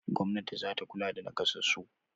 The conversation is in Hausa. Gwamnati za ta kula da naƙasassu.